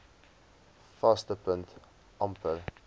vaste punt amper